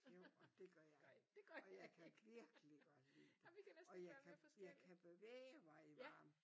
Jo og det gør jeg og jeg kan virkelig godt lide det og jeg jeg kan bevæge mig i varmen